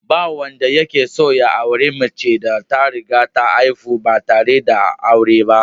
Ba wanda yake son ya auri macen da ta riga ta haifi ɗa ba tare da aure ba